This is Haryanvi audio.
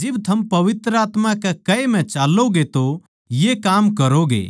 जिब थम पवित्र आत्मा के कहे म्ह चाल्लोंगे तो ये काम करोगे